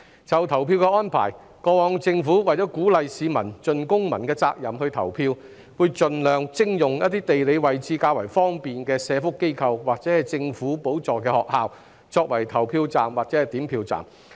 就投票的安排，過往政府為鼓勵市民盡公民責任投票，會盡量徵用一些地理位置較方便的社福機構或政府補助學校作為投票站及點票站。